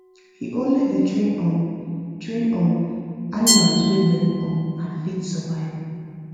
we only da train um train um animals wa well um and fit survive